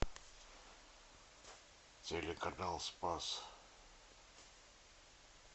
телеканал спас